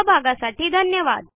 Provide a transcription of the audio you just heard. सहभागासाठी धन्यवाद